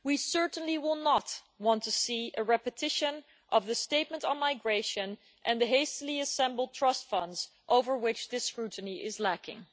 We certainly will not want to see a repetition of the statements on migration and the hastily assembled trust funds over which this scrutiny is lacking.